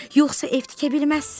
Yoxsa ev tikə bilməzsən.